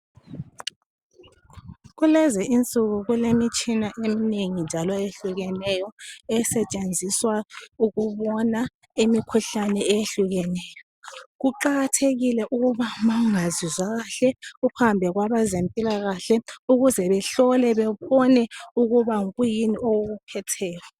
Kulezi insuku kulemitshina eminengi njalo eyehlukeneyo esetshenziswa ukubona imikhuhlane eyehlukeneyo. Kuqakathekile ukuba ma ungazizwa kahle uhambe kwabezempilakahle ukuze behlole bebone ukuba kuyini okukuphetheyo.